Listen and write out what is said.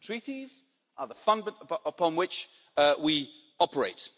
The Treaties are the fundament upon which we operate.